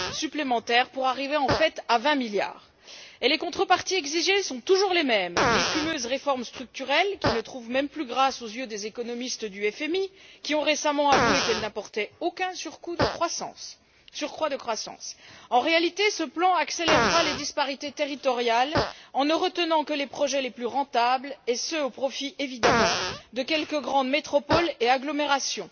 supplémentaires pour arriver en fait à 20 milliards. Les contreparties exigées sont toujours les mêmes, les fumeuses réformes structurelles qui ne trouvent même plus grâce aux yeux des économistes du FMI, qui ont récemment avoué qu'elle n'apportait aucun surcroît de croissance. En réalité, ce plan accélérera les disparités territoriales en ne retenant que les projets les plus rentables, et ce au profit évidemment de quelques grandes métropoles et agglomérations.